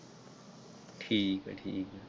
ਠੀਕ ਹੈ ਠੀਕ ਹੈ।